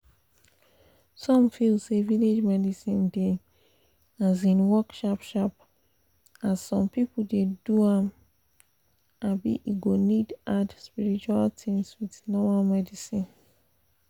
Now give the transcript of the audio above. some feel say village medicine dey um work sharp sharp as some people dey do am um e go need add spiritual things with normal medicine